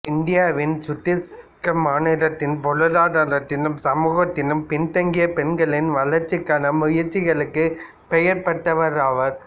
இந்தியாவின் சத்தீசுகர் மாநிலத்தின் பொருளாதாரத்திலும் சமூகத்திலும் பின்தங்கிய பெண்களின் வளர்ச்சிக்கான முயற்சிகளுக்கு பெயர் பெற்றவராவார்